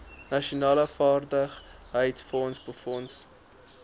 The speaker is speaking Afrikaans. nasionale vaardigheidsfonds befonds